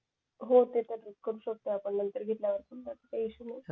काही इशू नाही